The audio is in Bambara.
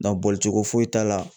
boli cogo foyi t'a la